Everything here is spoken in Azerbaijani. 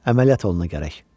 Əməliyyat olunacaq gərək.